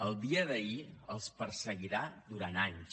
el dia d’ahir els perseguirà durant anys